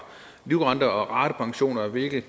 livrenter og ratepensioner hvilket